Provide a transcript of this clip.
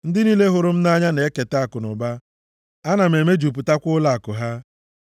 Ndị niile hụrụ m nʼanya, na-eketa akụnụba. Ana m emejupụtakwa ụlọakụ ha.